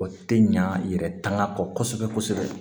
O tɛ ɲa yɛrɛ tanga kɔsɛbɛ kosɛbɛ